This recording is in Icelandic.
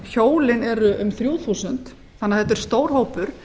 hjólin eru um þrjú þúsund þannig að þetta er stór hópur